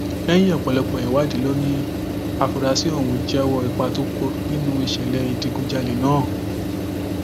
lẹyìn ọpọlọpọ ìwádìí ló ní àfúrásì ọhún jẹwọ ipa tó kó nínú ìṣẹlẹ ìdígunjalè náà